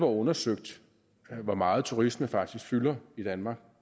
undersøgt hvor meget turisme faktisk fylder i danmark